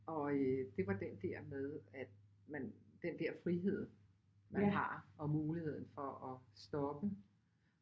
Og øh det var den der med at man den der frihed man har og muligheden for at stoppe